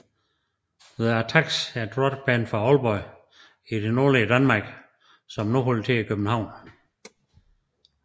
Thee Attacks er et rock band fra Aalborg i det nordlige Danmark som nu holder til i København